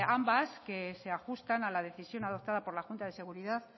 ambas que se ajustan a la decisión adoptada por la junta de seguridad